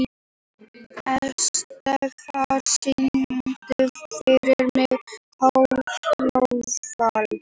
Estefan, syngdu fyrir mig „Fatlafól“.